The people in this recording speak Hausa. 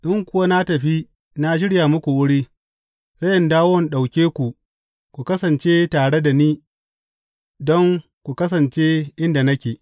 In kuwa na tafi na shirya muku wuri, sai in dawo in ɗauke ku ku kasance tare da ni don ku kasance inda nake.